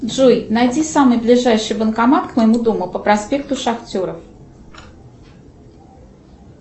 джой найди самый ближайший банкомат к моему дому по проспекту шахтеров